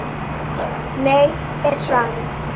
Nei er svarið.